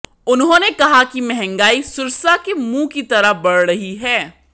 उन्होंने कहा कि महंगाई सुरसा के मुंह की तरह बढ़ रही है